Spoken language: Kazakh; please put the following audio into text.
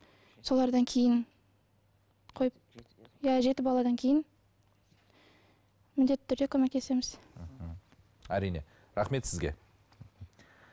солардан кейін қойып иә жеті баладан кейін міндетті түрде көмектесеміз мхм әрине рахмет сізге